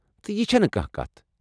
تہٕ یہِ چھنہٕ کانہہ کتھٕیہ ۔